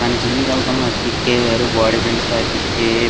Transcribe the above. కానీ జిమ్ కి వెళ్తే ఆ కిక్కే వేరు బాడి పెంచితే ఆ కిక్కే--